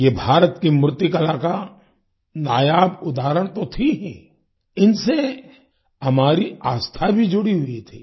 ये भारत की मूर्तिकला का नायाब उदहारण तो थीं हीं इनसे हमारी आस्था भी जुड़ी हुई थी